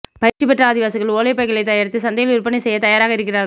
பயிற்சி பெற்ற ஆதிவாசிகள் ஒலைப்பைகளை தயாரித்து சந்தையில் விற்பனை செய்ய தயாராக இருக்கிறார்கள